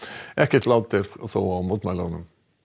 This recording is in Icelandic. ekkert lát er þó á mótmælunum